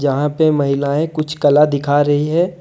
यहां पे महिलाएं कुछ कला दिखा रही है।